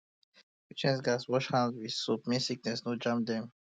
patients um gats um wash hand with soap make um sickness no jam dem